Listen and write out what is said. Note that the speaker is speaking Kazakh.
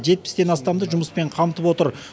жетпістен астамды жұмыспен қамтып отыр